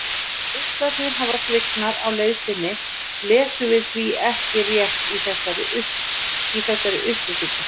Ef geislarnir hafa svignað á leið sinni lesum við því ekki rétt í þessar upplýsingar.